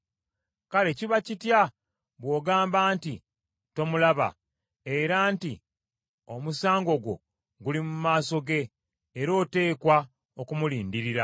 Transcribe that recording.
Kale kiba kitya bw’ogamba nti tomulaba, era nti, Omusango gwo guli mu maaso ge era oteekwa okumulindirira;